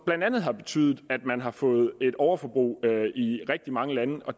blandt andet betydet at man har fået et overforbrug i rigtig mange lande